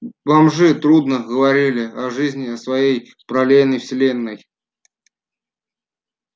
бомжи трудно говорили о жизни в своей параллельной вселенной